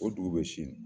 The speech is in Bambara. O dugu bɛ sini